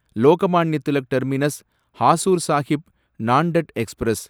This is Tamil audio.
Lokmanya Tilak terminus Hazur Sahib Nanded express